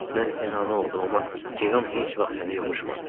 Mən sənə ana oldum, amma Cerom heç vaxt səni yovuşmadı.